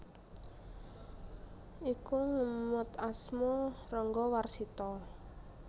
Iku ngemot asma Ranggawarsita